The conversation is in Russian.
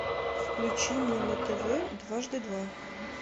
включи мне на тв дважды два